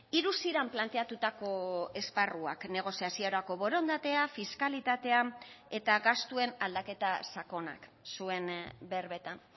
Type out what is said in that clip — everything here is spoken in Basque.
hiru ziren planteatutako esparruak negoziaziorako borondatea fiskalitatea eta gastuen aldaketa sakonak zuen berbetan